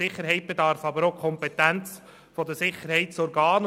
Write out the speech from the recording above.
Sicherheit bedarf der Kompetenz der Sicherheitsorgane.